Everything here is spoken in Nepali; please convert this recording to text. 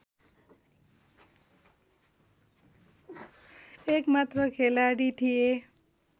एकमात्र खेलाडी थिए